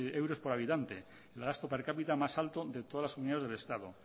euros por habitante el gasto per cápita más alto de todas las comunidades del estado